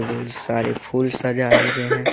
बहुत सारे फूल सजाए गये हैं।